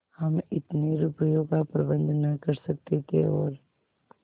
हम इतने रुपयों का प्रबंध न कर सकते थे और